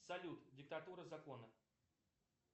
салют диктатура закона